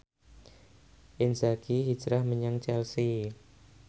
Inzaghi hijrah menyang Chelsea